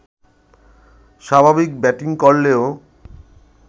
স্বাভাবিক ব্যাটিং করলেও